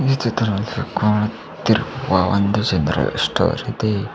ಈ ಚಿತ್ರ ನಲ್ಲಿ ಕಾಣುತ್ತಿರುವ ಒಂದು ಜನರಲ್ ಸ್ಟೋರ್ ಇದೆ.